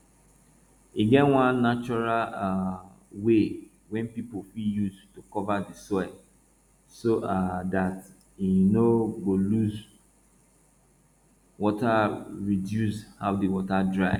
e get one natural um way wey pipu fit use to cover di soil so um dat e no go lose wata reduce how di wata dry